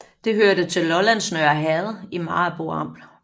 Det hørte til Lollands Nørre Herred i Maribo Amt